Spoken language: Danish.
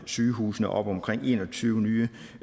sygehusene op omkring en og tyve nye